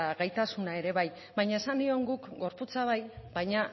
gaitasuna ere bai baina esan nion guk gorputza bai baina